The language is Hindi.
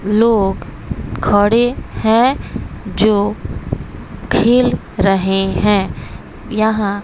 लोग खड़े हैं जो खेल रहे हैं यहां--